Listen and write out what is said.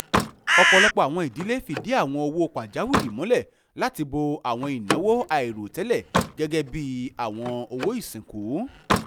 ọ̀pọ̀lọpọ̀ àwọn ìdílé fìdí àwọn owó pajawìrí múlẹ̀ láti bò àwọn ìnáwó àìròtẹ́lẹ̀ gẹ́gẹ́ bí àwọn owó ìsìnkú